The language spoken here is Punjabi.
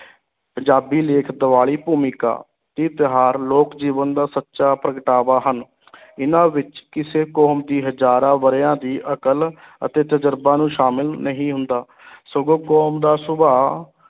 ਪੰਜਾਬੀ ਲੇਖ ਦੀਵਾਲੀ ਭੂਮਿਕਾ, ਇਹ ਤਿਉਹਾਰ ਲੋਕ ਜੀਵਨ ਦਾ ਸੱਚਾ ਪ੍ਰਗਟਾਵਾ ਹਨ ਇਹਨਾਂ ਵਿੱਚ ਕਿਸੇ ਕੌਮ ਦੀ ਹਜ਼ਾਰਾਂ ਵਰਿਆਂ ਦੀ ਅਕਲ ਅਤੇ ਤਜ਼ਰਬਾ ਨੂੰ ਸ਼ਾਮਲ ਨਹੀਂ ਹੁੰਦਾ ਸਗੋਂ ਕੌਮ ਦਾ ਸੁਭਾਅ